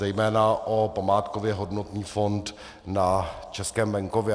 Zejména o památkově hodnotný fond na českém venkově.